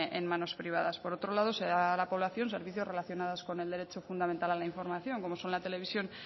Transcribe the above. en manos privadas por otro lado se da a la población servicios relacionados con el derecho fundamental a la información como son la televisión